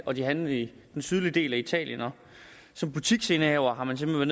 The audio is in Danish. og de handlende i den sydlige del af italien og som butiksindehaver har man simpelt